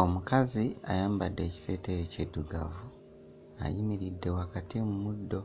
Omukazi ayambadde kiteeteeyi kiddugavu, ayimiridde wakati mu muddo,